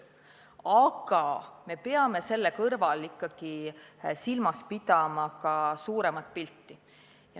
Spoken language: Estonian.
Aga me peame selle kõrval ikkagi silmas pidama ka suuremat pilti.